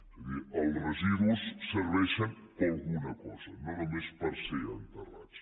és a dir els residus serveixen per alguna cosa no només per ser enterrats